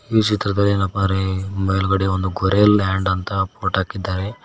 ಈ ಚಿತ್ರದಲ್ಲಿ ಏನಪ್ಪಾ ರೇ ಮೇಲ್ಗಡೆ ಒಂದು ಗೊರೆ ಲ್ಲಂಡ್ ಎಂದು ಪಟ್ಟಾಕಿದ್ದಾರೆ.